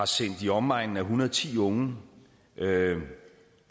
sendt i omegnen af en hundrede og ti unge